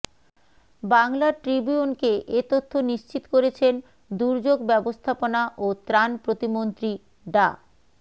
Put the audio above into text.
বাংলা ট্রিবিউনকে এ তথ্য নিশ্চিত করেছেন দুর্যোগ ব্যবস্থাপনা ও ত্রাণ প্রতিমন্ত্রী ডা